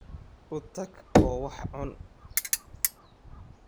U tag oo wax cun